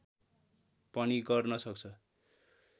पनि गर्न सक्छ